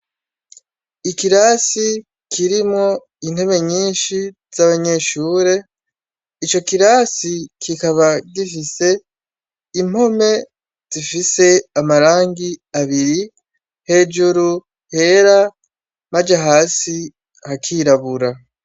Ikirasi kirimo intebe nyinshi z'abanyeshure ico kirasi kikaba gifise impome zifise amarangi abiri hejuru hera maja hasi hakirabura.